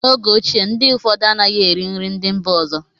n'oge ochie, ndị ụfọdụ anaghị eri nri ndị mba ọzọ